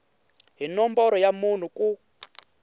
hi nomboro ya munhu ku